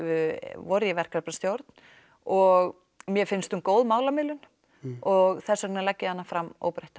voru í verkefnastjórn og mér finnst hún góð málamiðlun og þess vegna legg ég hana fram óbreytta